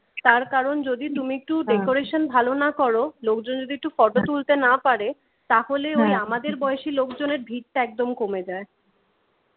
তার কারণ যদি তুমি একটু decoration ভালো না করো লোকজন যদি একটি ফটো তুলতে না পারে তাহলে ওই আমাদের বয়সী লোকজনের ভিড় টা একদম কমে যায়,